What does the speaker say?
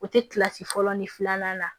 O tɛ kilasi fɔlɔ ni filanan la